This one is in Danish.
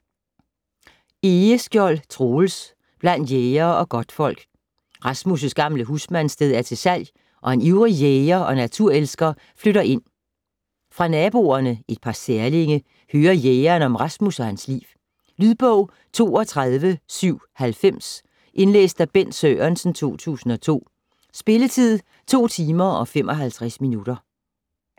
Egeskjold, Troels: Blandt jægere og godtfolk Rasmus' gamle husmandssted er til salg, og en ivrig jæger og naturelsker flytter ind. Fra naboerne - et par særlinge - hører jægeren om Rasmus og hans liv. Lydbog 32790 Indlæst af Bent Sørensen, 2002. Spilletid: 2 timer, 55 minutter.